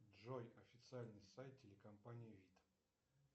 джой официальный сайт телекомпании вид